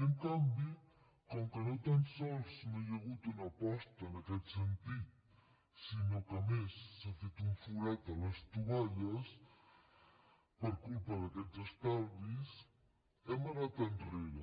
i en canvi com que no tan sols no hi ha hagut una aposta en aquest sentit sinó que a més s’ha fet un forat a les tovalles per culpa d’aquests estalvis hem anat enrere